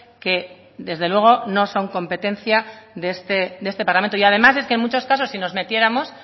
que desde luego no son competencia de este parlamento y además es que en mucho casos si nos metiéramos